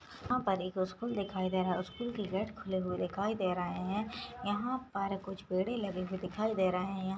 यहाँ पर एक स्कूल दिखाई दे रहा है स्कूल कि गेट खुला हुआ दिखाई दे रहा है यहाँ पर कुछ पेडे लगे हुए दिखाई दे रहे है।